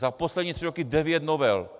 Za poslední tři roky devět novel!